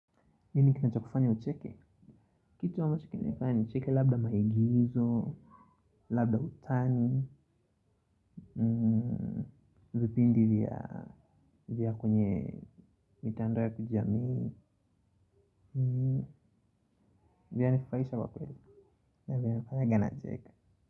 Nini kinachokufanya ucheke, kitu ambacho kinanifanya nicheke labda maigizo, labda utani, vipindi vya kwenye mitandao ya kijamii, vinanifurahisha kwa kweli na vinanifanyanga nacheka.